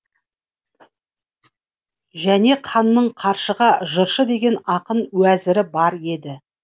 және ханның қаршыға жыршы деген ақын уәзірі бар еді